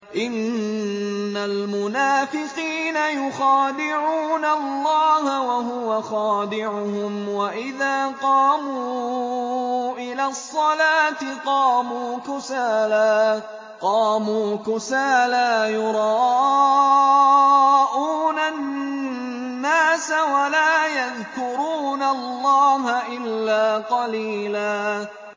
إِنَّ الْمُنَافِقِينَ يُخَادِعُونَ اللَّهَ وَهُوَ خَادِعُهُمْ وَإِذَا قَامُوا إِلَى الصَّلَاةِ قَامُوا كُسَالَىٰ يُرَاءُونَ النَّاسَ وَلَا يَذْكُرُونَ اللَّهَ إِلَّا قَلِيلًا